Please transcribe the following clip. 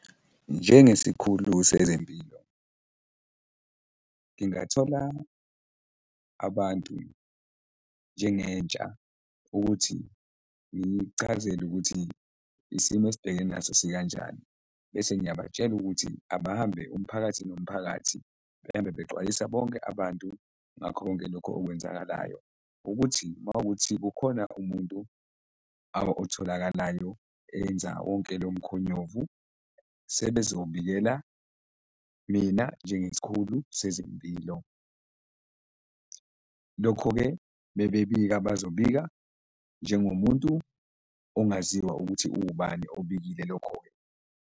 Njengesikhulu sezempilo, ngingathola abantu njengentsha ukuthi ngiyichazele ukuthi isimo esibhekene naso sikanjani bese ngiyabatshela ukuthi abahambe umphakathi nomphakathi, behambe bexwayisa bonke abantu ngakho konke lokhu okwenzakalayo ukuthi mawukuthi kukhona umuntu otholakalayo enza wonke lomkhonyovu, sebezobikela mina nje ngesikhulu sezempilo. Lokho-ke mebebika bazobika njengomuntu ongaziwa ukuthi uwubani obikile lokho-ke.